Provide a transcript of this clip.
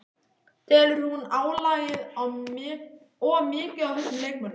Telur hún álagið of mikið á þessum leikmönnum?